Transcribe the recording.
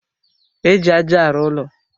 Éjị aja arụ ụlọ.